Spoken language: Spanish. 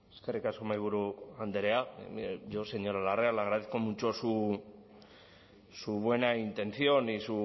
eskerrik asko mahaiburu andrea yo señora larrea le agradezco mucho su buena intención y